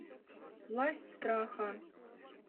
власть страха